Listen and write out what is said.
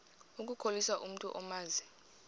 ukukhohlisa umntu omazi